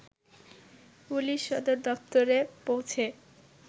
police সদর দপ্তরে পৌঁছে